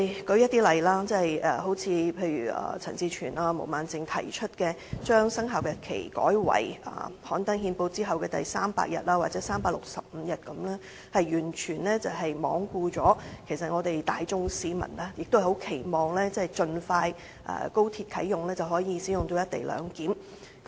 例如，陳志全議員及毛孟靜議員提出把生效日期改為於憲報刊登當日後的第300日或立法會通過條例當日後的第365日，是完全罔顧市民期望高鐵盡快啟用，實施"一地兩檢"。